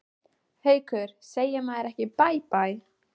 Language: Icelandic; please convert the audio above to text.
Haukur: Segir maður ekki bæ bæ?